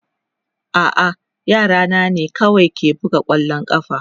A'a, yara na ne kawai ke buga kwallon ƙafa.